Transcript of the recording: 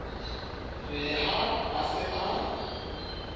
re ha a se a